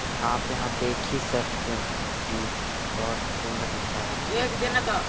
आप यहाँ देख ही सकते है की बहोत सुन्दर नज़ारा दिख रहा है।